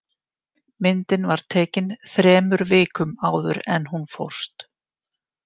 Myndin var tekin þremur vikum áður en hún fórst